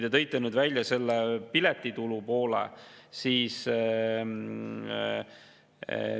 Te tõite nüüd välja selle piletitulu poole.